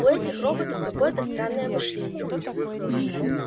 у этих роботов какое-то странное мышление